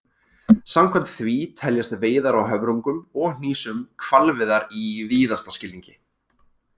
Samkvæmt því teljast veiðar á höfrungum og hnísum hvalveiðar í víðasta skilningi.